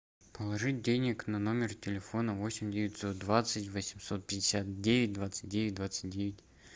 положить денег на номер телефона восемь девятьсот двадцать восемьсот пятьдесят девять двадцать девять двадцать девять